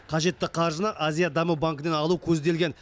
қажетті қаржыны азия даму банкінен алу көзделген